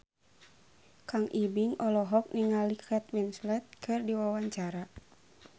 Kang Ibing olohok ningali Kate Winslet keur diwawancara